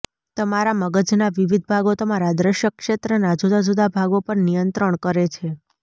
તમારા મગજના વિવિધ ભાગો તમારા દ્રશ્ય ક્ષેત્રના જુદા જુદા ભાગો પર નિયંત્રણ કરે છે